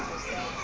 ya ba e se e